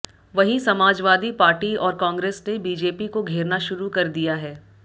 वहीं समाजवादी पार्टी और कांग्रेस ने बीजेपी को घेरना शुरू कर दिया है